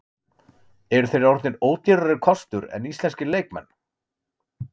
Eru þeir orðnir ódýrari kostur en íslenskir leikmenn?